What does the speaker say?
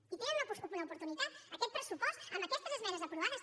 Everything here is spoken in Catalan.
i tenen una oportunitat aquest pressupost amb aquestes esmenes aprovades